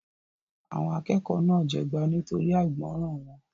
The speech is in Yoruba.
Àwọn akẹ́kọ̀ọ́ náà jẹgba nítorí àìgbọràn wọn.